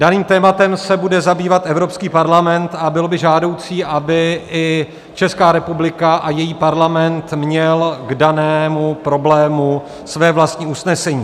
Daným tématem se bude zabývat Evropský parlament a bylo by žádoucí, aby i Česká republika a její parlament měl k danému problému své vlastní usnesení.